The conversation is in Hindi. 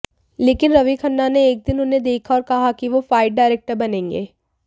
लेकिन रवि खन्ना ने एक दिन उन्हें देखा और कहा कि वो फाइट डायरेक्टर बनेंगे